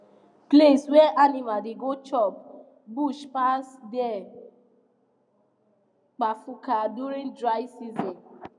place wey animals da go chop bush pass dey kpafuka during dry season